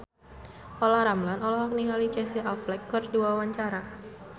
Olla Ramlan olohok ningali Casey Affleck keur diwawancara